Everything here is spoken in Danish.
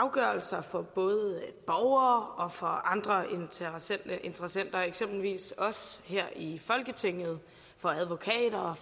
afgørelser for borgere og andre interessenter eksempelvis for os her i folketinget og advokater og